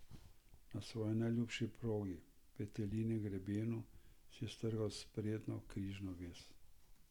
Na svoji najljubši progi, Petelinjem grebenu, si je strgal sprednjo križno vez.